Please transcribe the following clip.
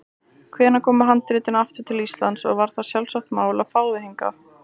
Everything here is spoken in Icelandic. Hvenær komu handritin aftur til Íslands og var það sjálfsagt mál að fá þau hingað?